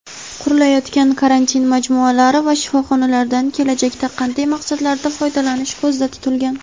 Qurilayotgan karantin majmualari va shifoxonlardan kelajakda qanday maqsadlarda foydalanish ko‘zda tutilgan?.